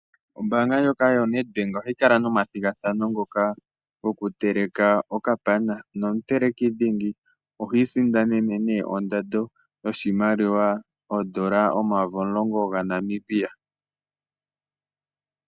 Oombaanga ndjoka yo NET Bank ohayi kala nomathigathano ngoka goku teleka okapana. Nomuteleki dhingi ihi isindanene nee ondando yoshimaliwa oodola omayovi omulongo dha Namibia.